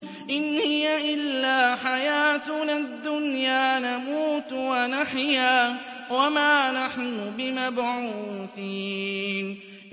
إِنْ هِيَ إِلَّا حَيَاتُنَا الدُّنْيَا نَمُوتُ وَنَحْيَا وَمَا نَحْنُ بِمَبْعُوثِينَ